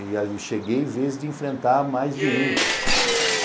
E aí cheguei vezes de enfrentar mais de um.